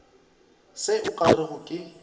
se o ka rego ke